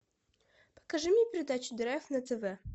покажи мне передачу драйв на тв